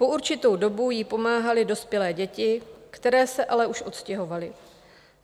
Po určitou dobu jí pomáhaly dospělé děti, které se ale už odstěhovaly.